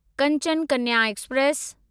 Kanchan Kanya express